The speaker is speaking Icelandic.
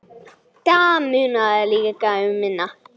Það munaði líka um minna.